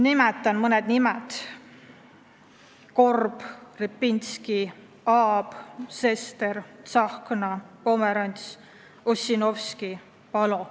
Nimetan mõned nimed: Korb, Repinski, Aab, Sester, Tsahkna, Pomerants, Ossinovski, Palo.